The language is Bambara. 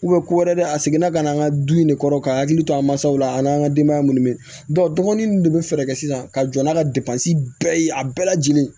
ko wɛrɛ a seginna ka na an ka du in ne kɔrɔ ka hakili to an mansaw la an n'an ka denbaya minnu bɛ dɔgɔnin ninnu de bɛ fɛɛrɛ kɛ sisan ka jɔ n'a ka bɛɛ ye a bɛɛ lajɛlen ye